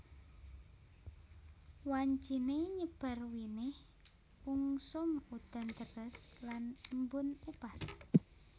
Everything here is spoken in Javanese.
Wanciné nyebar winih ungsum udan deres lan embun upas